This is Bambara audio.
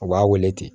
U b'a wele ten